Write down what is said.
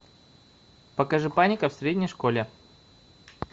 покажи паника в средней школе